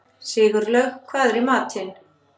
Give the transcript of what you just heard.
Sigurlaug, hvað er í matinn?